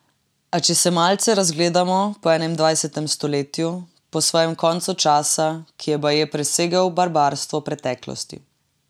A če se malce razgledamo po enaindvajsetem stoletju, po svojem koncu časa, ki je baje presegel barbarstvo preteklosti.